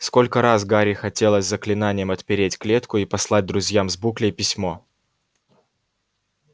сколько раз гарри хотелось заклинанием отпереть клетку и послать друзьям с буклей письмо